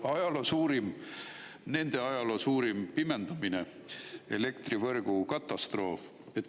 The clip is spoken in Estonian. Ajaloo suurim, nende ajaloo suurim pimendamine, elektrivõrgu katastroof.